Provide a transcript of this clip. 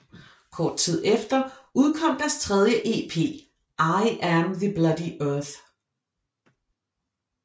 Kort tid efter udkom deres tredje ep I Am the Bloody Earth